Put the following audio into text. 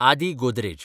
Aadi Godrej